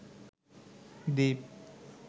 দ্বীপ